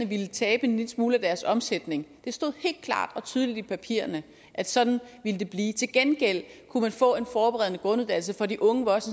ville tabe en lille smule af deres omsætning det stod helt klart og tydeligt i papirerne at sådan ville det blive til gengæld kunne man få en forberedende grunduddannelse for de unge